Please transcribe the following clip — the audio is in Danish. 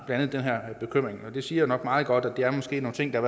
andet den her bekymring og det siger nok meget godt at der måske er nogle ting der